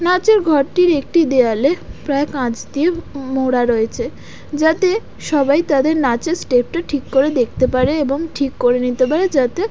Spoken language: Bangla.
নাচের ঘরটির একটি দেয়ালে প্রায় কাঁচ দিয়ে মোড়া রয়েছে যাতে সবাই তাদের নাচের স্টেপ টা ঠিক করে দেখতে পারে এবং ঠিক করে নিতে পারে যাতে--